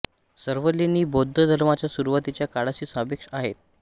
सर्व लेणी बौद्ध धर्माच्या सुरुवातीच्या काळाशी सापेक्ष आहेत